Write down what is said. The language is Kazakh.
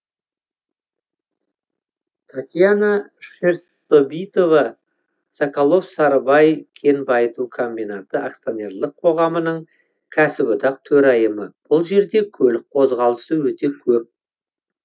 татьяна шерстобитова соколов сарыбай кен байыту комбинаты акционерлік қоғамының кәсіподақ төрайымы бұл жерде көлік қозғалысы өте көп